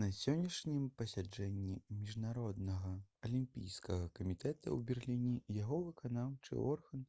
на сённяшнім пасяджэнні міжнароднага алімпійскага камітэта ў берліне яго выканаўчы орган